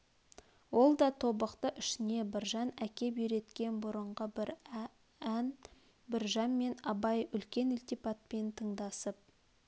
ол да тобықты ішіне біржан әкеп үйреткен бұрынғы бір ән біржан мен абай үлкен ілтипатпен тыңдасып